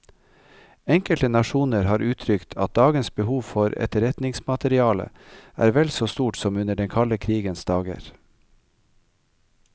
Enkelte nasjoner har uttrykt at dagens behov for etterretningsmateriale er vel så stort som under den kalde krigens dager.